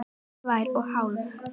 Tvær og hálf.